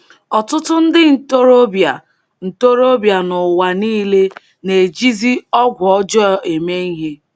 Ọtụtụ ndị ntorobịa ntorobịa n’ụwa nile na-ejizi ọgwụ ọjọọ eme ihe.